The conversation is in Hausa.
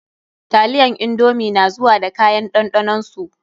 Taliyan indomi na zuwa da kayan ɗanɗanon su.